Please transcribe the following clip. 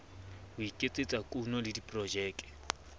ho iketsetsa kuno le diprojeke